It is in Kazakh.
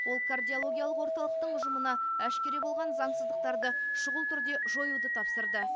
ол кардиологиялық орталықтың ұжымына әшкере болған заңсыздықтарды шұғыл түрде жоюды тапсырды